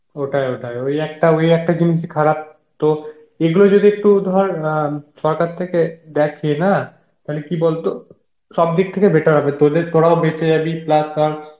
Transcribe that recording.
ওটাই ওটাই, ওই একটা জিনিস ই খারাপ তো এগুলোই যদি একটু ধর অ্যাঁ সরকার থেকে দেখে না তাহলে কি বলতো সব দিক থেকে better হবে তদের তরাও বেছে জাবি plus ধর